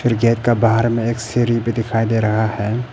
Gate का बाहर में एक सीढ़ी भी दिखाई दे रहा है।